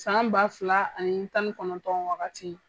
San ba fila ani tan ni kɔnɔntɔn wagati.